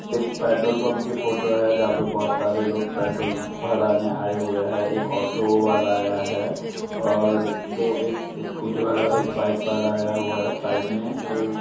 एक पेट्रोल-पंप की फ़ोटो है जहाँ पे बहुत सारे लोग पेट्रोल भराने आये हुए हैं। एक ऑटो वाला आया है और दो एक स्कूटी वाला और एक बाइक वाला आया हुआ है। साइड में ऐ --